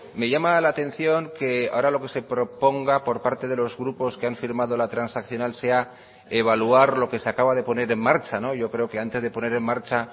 me llama la atención que ahora lo que se proponga por parte de los grupos que han firmado la transaccional sea evaluar lo que se acaba de poner en marcha yo creo que antes de poner en marcha